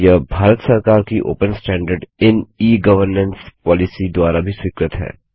यह भारत सरकार की open standard in e governance policy द्वारा भी स्वीकृत है